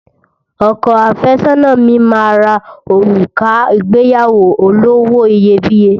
Ọkọ àfẹ́sọ́nà mi máa ra òrùka ìgbéyàwó olówó iyebíye